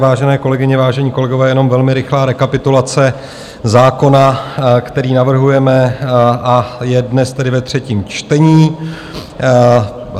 Vážené kolegyně, vážení kolegové, jenom velmi rychlá rekapitulace zákona, který navrhujeme, a je dnes tedy ve třetím čtení.